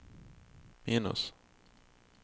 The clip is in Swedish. minus